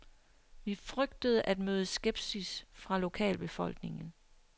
Vi frygtede at møde skepsis fra lokalbefolkningen.